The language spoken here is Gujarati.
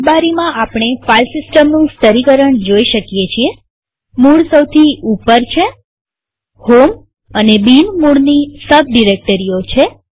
આ સ્લાઈડમાંઆપણે ફાઈલ સિસ્ટમનું સ્તરીકરણ જોઈ શકીએ છીએમૂળ સૌથી ઉપર છેહોમ અને બિન મૂળની સબ ડિરેક્ટરીઓ છે